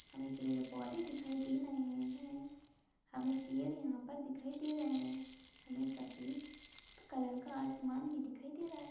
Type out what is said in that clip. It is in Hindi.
हमें पेड़ पौधे दिखाई दे रहे हैं हमें पेड़ यहां पर दिखाई दे रहे हैं हमें सफेद कलर का आसमान भी दिखाई दे रहा है।